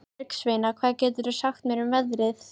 Bergsveina, hvað geturðu sagt mér um veðrið?